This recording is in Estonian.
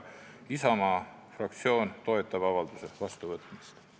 Isamaa fraktsioon toetab avalduse vastuvõtmist.